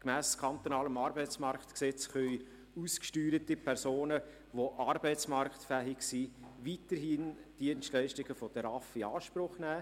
Gemäss Arbeitsmarktgesetz vom 23. Juni 2003 (AMG) können ausgesteuerte Personen, die arbeitsmarktfähig sind, weiterhin Dienstleistungen der regionalen Arbeitsvermittlungszentren (RAV) in Anspruch nehmen.